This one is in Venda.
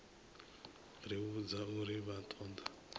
ri vhudza uri vha ṱoḓa